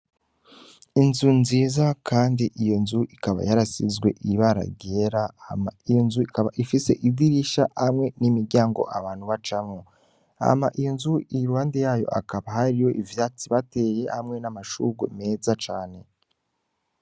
Inzu nziza, kandi iyo nzu ikaba yarasizwe ibara ryera, hama iyo nzu ikaba ifise idirisha hamwe n'imiryango abantu bacamwo. Hama iyo nzu, iruhande yayo hakaba hariho ivyatsi bateye hamwe n'amashurwe meza cane.